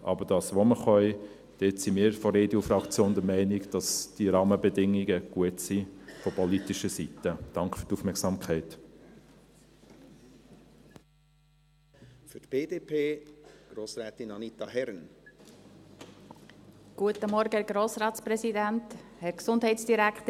Aber bei dem, was wir tun können, sind wir von der EDU-Fraktion der Meinung, dass diese Rahmenbedingungen von politischer Seite her gut sind.